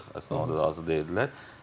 Əslində onda da razı deyildilər.